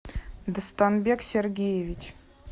дастанбек сергеевич